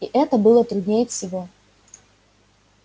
и это было труднее всего